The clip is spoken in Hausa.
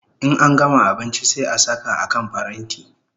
In an gama abinchi sai a saka a kan paranti